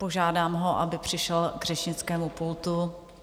Požádám ho, aby přišel k řečnickému pultu.